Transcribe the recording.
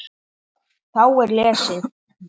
Þá er lesið